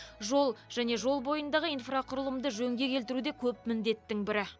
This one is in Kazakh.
жол және жол бойындағы инфрақұрылымды жөнге келтіру де көп міндеттің бірі